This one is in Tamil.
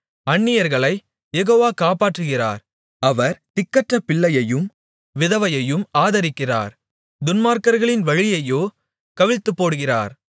அந்நியர்களைக் யெகோவா காப்பாற்றுகிறார் அவர் திக்கற்ற பிள்ளையையும் விதவையையும் ஆதரிக்கிறார் துன்மார்க்கர்களின் வழியையோ கவிழ்த்துப் போடுகிறார்